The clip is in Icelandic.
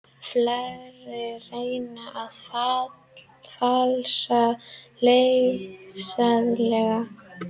Fleiri reyna að falsa lyfseðla